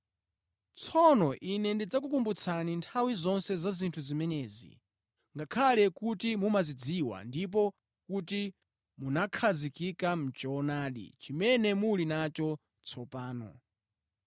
Tsono ine ndidzakukumbutsani nthawi zonse za zinthu zimenezi, ngakhale kuti mumazidziwa ndipo kuti munakhazikika mʼchoonadi chimene muli nacho tsopano.